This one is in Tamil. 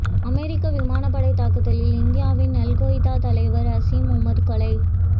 அமெரிக்க விமானப் படை தாக்குதலில் இந்தியாவின் அல்கொய்தா தலைவர் அசிம் உமர் கொலை